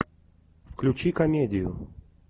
включи комедию